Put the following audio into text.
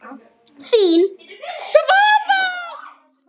Þín, Svava.